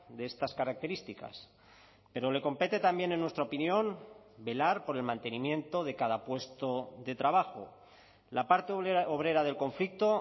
de estas características pero le compete también en nuestra opinión velar por el mantenimiento de cada puesto de trabajo la parte obrera del conflicto